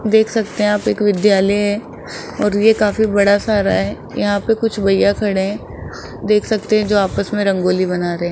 देख सकते है आप एक विद्यालय है और ये काफी बड़ा सारा है यहां पे कुछ भैया खड़े हैं देख सकते हैं जो आपस में रंगोली बना रहे हैं।